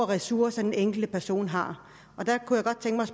ressourcer den enkelte person har